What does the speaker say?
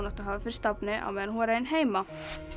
ætti að hafa fyrir stafni á meðan hún var ein heima